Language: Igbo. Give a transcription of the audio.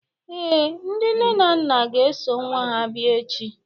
ee, ndị nne na nna ga-eso nwa ha bịa echi